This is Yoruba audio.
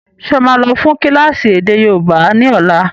Ṣé ó máa lọ fún kílásì èdè yóòbá ni ọ̀la?